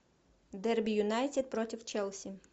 дерби юнайтед против челси